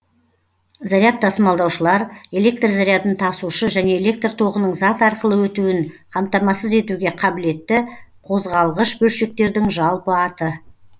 заряд тасымалдаушылар электр зарядын тасушы және электр тоғының зат арқылы өтуін қамтамасыз етуге қабілетті қозғалғыш бөлшектердің жалпы аты